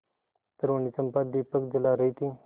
तरूणी चंपा दीपक जला रही थी